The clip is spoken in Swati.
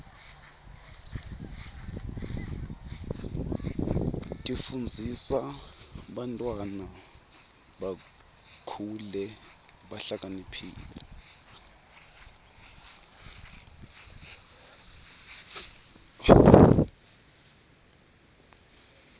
tifundzisa bantwana bakhule behlakaniphile